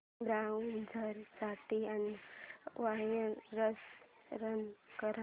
browser साठी anti virus run कर